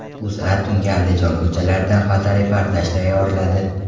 O‘zA tungi Andijon ko‘chalaridan fotoreportaj tayyorladi .